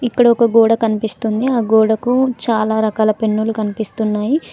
ఇక్కడ ఒక గోడ కనిపిస్తుంది ఆ గోడకు చాలా రకాల పెన్నులు కనిపిస్తున్నాయి.